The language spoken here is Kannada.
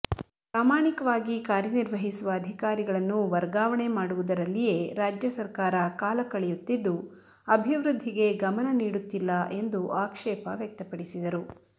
ಪ್ರಾಮಾಣಿಕವಾಗಿ ಕಾರ್ಯನಿರ್ವಹಿಸುವ ಅಧಿಕಾರಿಗಳನ್ನು ವರ್ಗಾವಣೆ ಮಾಡುವುದರಲ್ಲಿಯೇ ರಾಜ್ಯ ಸರ್ಕಾರ ಕಾಲಕಳೆಯುತ್ತಿದ್ದು ಅಭಿವೃದ್ಧಿಗೆ ಗಮನ ನೀಡುತ್ತಿಲ್ಲ ಎಂದು ಆಕ್ಷೇಪವ್ಯಕ್ತಪಡಿಸಿದರು